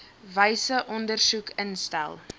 wyse ondersoek instel